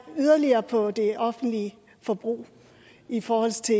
yderligere ned på det offentlige forbrug i forhold til